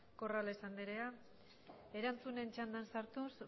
corrales anderea erantzunen txandan sartuz